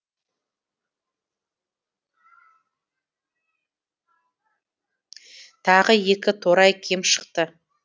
тағы екі торай кем шықты